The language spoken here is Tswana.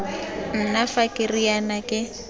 nna fa ke riana ke